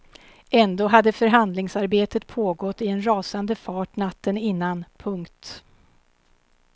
Ändå hade förhandlingsarbetet pågått i en rasande fart natten innan. punkt